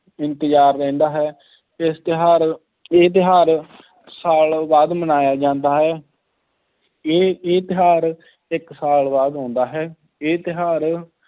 ਇੰਤਜ਼ਾਰ ਰਹਿੰਦਾ ਹੈ, ਇਸ ਤਿਉਹਾਰ, ਇਹ ਤਿਉਹਾਰ ਸਾਲ ਬਾਅਦ ਮਨਾਇਆ ਜਾਂਦਾ ਹੈ ਇਹ ਇਹ ਤਿਉਹਾਰ ਇੱਕ ਸਾਲ ਬਾਅਦ ਆਉਂਦਾ ਹੈ, ਇਹ ਤਿਉਹਾਰ